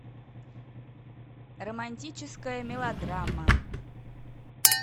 романтическая мелодрама